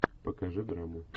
покажи драму